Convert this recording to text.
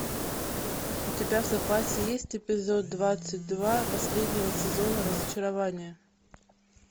у тебя в запасе есть эпизод двадцать два последнего сезона разочарование